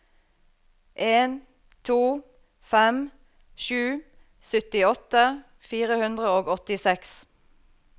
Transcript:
en to fem sju syttiåtte fire hundre og åttiseks